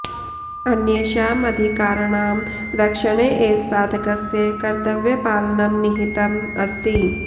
अन्येषाम् अधिकाराणां रक्षणे एव साधकस्य कर्तव्यपालनं निहितम् अस्ति